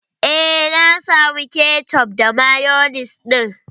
Eh, na samu kecof da mayonis ɗin.